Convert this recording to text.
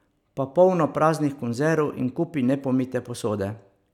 Pa polno praznih konzerv in kupi nepomite posode.